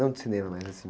Não de cinema, mas, assim